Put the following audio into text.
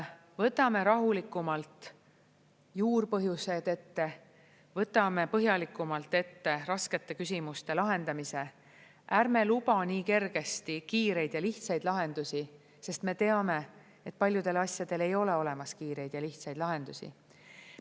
Võtame rahulikumalt juurpõhjused ette, võtame põhjalikumalt ette raskete küsimuste lahendamise, ärme lubame nii kergesti kiireid ja lihtsaid lahendusi, sest me teame, et paljudel asjadel ei ole olemas kiireid ja lihtsaid lahendusi.